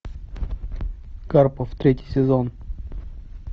карпов третий сезон